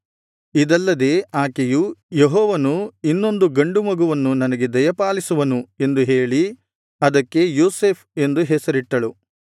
ಇದಲ್ಲದೆ ಆಕೆಯು ಯೆಹೋವನು ಇನ್ನೊಂದು ಗಂಡು ಮಗುವನ್ನು ನನಗೆ ದಯಪಾಲಿಸುವನು ಎಂದು ಹೇಳಿ ಅದಕ್ಕೆ ಯೋಸೇಫ್ ಎಂದು ಹೆಸರಿಟ್ಟಳು